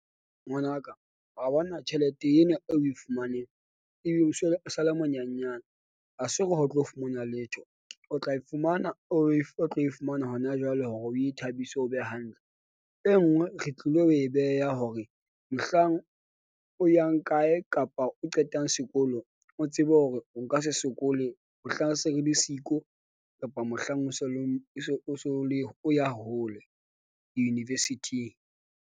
Ngwanaka wa bona tjhelete ena eo oe fumaneng ebile o se o sale monyenyana. Ha se hore ha o tlo fumana letho, o tla e fumana o tlo e fumana hona jwale hore o ithabise, o be hantle. E nngwe re tlile ho e beha hore mohlang o yang kae kapa o qetang sekolo, o tsebe hore o ka se sokole, mohlang se re le siko kapa mohlang o so leng o so o le o ya hole di-university-ing.